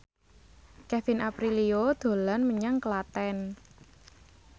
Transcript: Kevin Aprilio dolan menyang Klaten